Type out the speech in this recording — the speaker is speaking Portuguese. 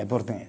Em português.